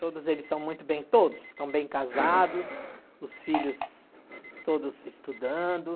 Todos eles estão muito bem, todos estão bem casados, os filhos todos estudando.